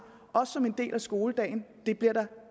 også som en del af skoledagen det bliver der